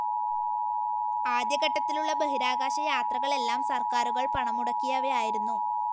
ആദ്യഘട്ടത്തിലുള്ള ബഹിരാകാശയാത്രകളെല്ലാം സർക്കാരുകൾ പണം മുടക്കിയവയായിരുന്നു.